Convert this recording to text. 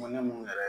Mun ne mun yɛrɛ